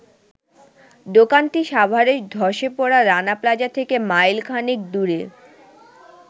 দোকানটি সাভারের ধ্বসে পড়া রানা প্লাজা থেকে মাইলখানেক দূরে।